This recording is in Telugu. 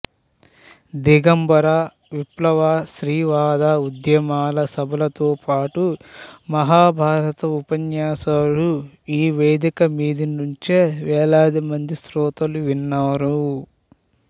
దిగంబర విప్లవ స్త్రీవాద ఉద్యమాల సభలతోపాటు మహాభారత ఉపన్యాసాలు ఈ వేదిక మీది నుంచే వేలాదిమంది శ్రోతలు విన్నారు